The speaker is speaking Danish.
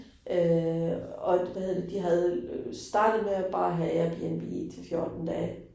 Øh og hvad hedder det de havde øh startet med at bare have Airbnb til 14 dage